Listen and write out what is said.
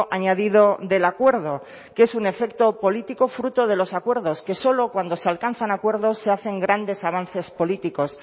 añadido del acuerdo que es un efecto político fruto de los acuerdos que solo cuando se alcanzan acuerdos se hacen grandes avances políticos